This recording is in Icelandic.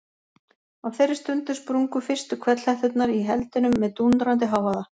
Á þeirri stundu sprungu fyrstu hvellhetturnar í eldinum með dúndrandi hávaða.